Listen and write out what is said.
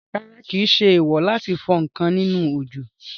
Rárá, kìí ṣe èèwò láti fọ ǹkan nínú òjò